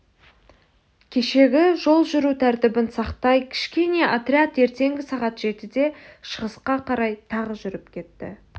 кешегі жол жүру тәртібін сақтай кішкене отряд ертеңгі сағат жетіде шығысқа қарай тағы жүріп кетті